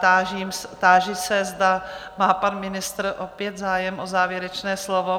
Táži se, zda má pan ministr opět zájem o závěrečné slovo?